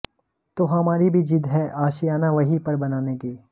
तो हमारी भी ज़िद है आशियाना वहीं पर बनाने की